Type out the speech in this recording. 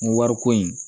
N ko wariko in